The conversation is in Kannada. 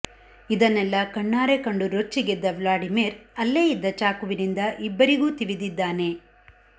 ಇದನ್ನೆಲ್ಲ ಕಣ್ಣಾರೆ ಕಂಡು ರೊಚ್ಚಿಗೆದ್ದ ವ್ಲಾಡಿಮಿರ್ ಅಲ್ಲೇ ಇದ್ದ ಚಾಕುವಿನಿಂದ ಇಬ್ಬರಿಗೂ ತಿವಿದಿದ್ದಾನೆ